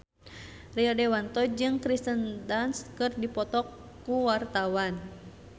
Rio Dewanto jeung Kirsten Dunst keur dipoto ku wartawan